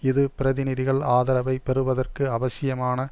இது பிரதிநிதிகள் ஆதரவை பெறுவதற்கு அவசியமான